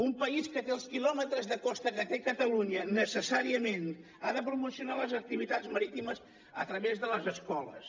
un país que té els quilòmetres de costa que té catalunya necessàriament ha de promocionar les activitats marítimes a través de les escoles